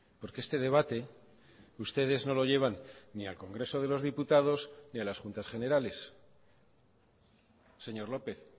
porque este debate ustedes no lo llevan ni al congreso de los diputados ni a las juntas generales señor lópez